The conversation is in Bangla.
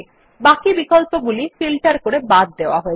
বাকি বিকল্পগুলি ফিল্টার করে বাদ দেওয়া হয়েছে